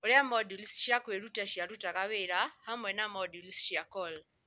Ũrĩa moduli cia kwĩruta ciarutaga wĩra hamwe na moduli cia CoL.